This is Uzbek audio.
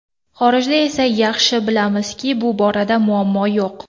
Xorijda esa yaxshi bilamizki, bu borada muammo yo‘q.